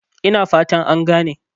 Ina fata an gane?